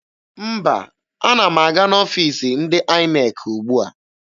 Mba, ana m aga n'ọfiisi ndị INEC ugbua.